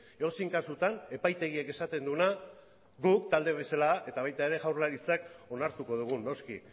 edozein kasutan epaitegiak esaten duena guk talde bezala eta baita jaurlaritzak ere onartuko dugu noski